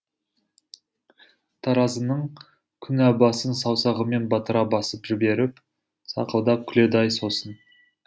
таразының күнә басын саусағымен батыра басып жіберіп сақылдап күледі ай сосын